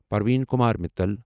Parveen Kumar Mittal